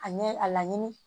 A ɲɛ a laɲini